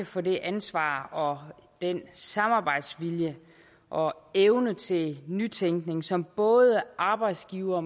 for det ansvar og den samarbejdsvilje og evne til nytænkning som både arbejdsgivere